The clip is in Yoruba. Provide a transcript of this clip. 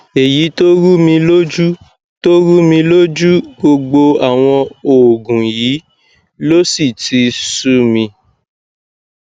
èyí tó rúmi lójú tó rúmi lójú gbogbo àwọn òògùn yìí ló sì ti sú mi